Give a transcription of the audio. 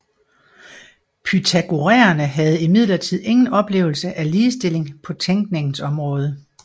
Pythagoræerne havde imidlertid ingen oplevelse af ligestilling på tænkningens område